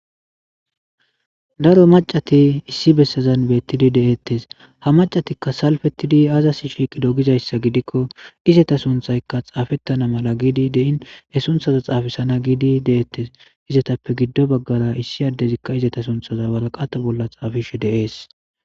daro macati issi bessazan beettidi deettes ha macatikka salfettidi azas shiiqido gizayssa gidikko izata sunthaykka xaafettana mala giidi dein he sunthaza xaafisana giidi deeettes izatappe giddo baggara issi addezikka izeta sunthaza waraqata bolla xaafishe deees